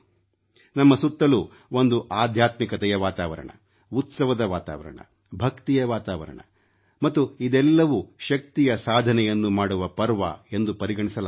ನಮ್ಮ ಸುತ್ತಲೂ ಒಂದು ಆಧ್ಯಾತ್ಮಿಕತೆಯ ವಾತಾವರಣ ಉತ್ಸವದ ವಾತಾವರಣ ಭಕ್ತಿಯ ವಾತಾವರಣ ಮತ್ತು ಇದೆಲ್ಲವೂ ಶಕ್ತಿಯ ಸಾಧನೆಯನ್ನು ಮಾಡುವ ಪರ್ವ ಎಂದು ಪರಿಗಣಿಸಲಾಗುತ್ತದೆ